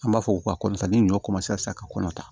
An b'a fɔ ko ka kɔrɔta ni ɲɔ ka kɔnɔ ta